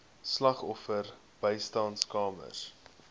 slagoffer bystandskamers